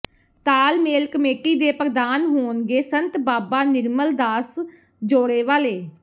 ਤਾਲਮੇਲ ਕਮੇਟੀ ਦੇ ਪ੍ਰਧਾਨ ਹੋਣਗੇ ਸੰਤ ਬਾਬਾ ਨਿਰਮਲ ਦਾਸ ਜੌੜੇ ਵਾਲੇ